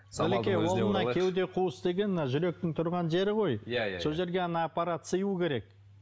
кеуде қуыс деген мына жүректің тұрған жері ғой иә иә сол жерге ана аппарат сыюы керек